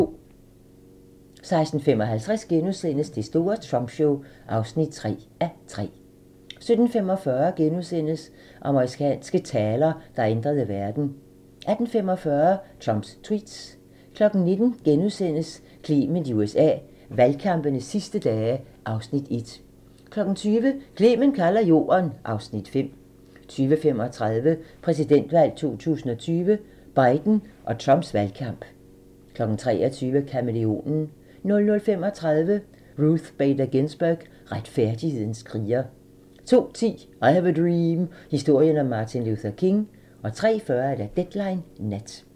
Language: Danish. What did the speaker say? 16:55: Det store Trump show (3:3)* 17:45: Amerikanske taler, der ændrede verden * 18:45: Trumps tweets 19:00: Clement i USA: Valgkampens sidste dage (Afs. 1)* 20:00: Clement kalder jorden (Afs. 5) 20:35: Præsidentvalg 2020: Biden og Trumps valgkamp 23:00: Kamæleonen 00:35: Ruth Bader Ginsburg – retfærdighedens kriger 02:10: I have a dream - historien om Martin Luther King 03:40: Deadline Nat